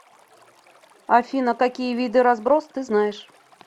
афина какие виды разброс ты знаешь